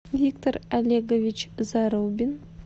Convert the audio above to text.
виктор олегович зарубин